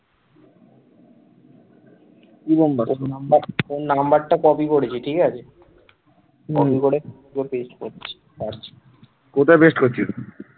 কোথায় paste করছিস?